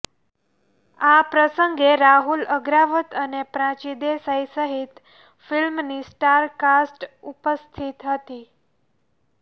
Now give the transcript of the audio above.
આ પ્રસંગે રાહુલ અગ્રવાલ અને પ્રાચી દેસાઈ સહિત ફિલ્મની સ્ટાર કાસ્ટ ઉપસ્થિત હતી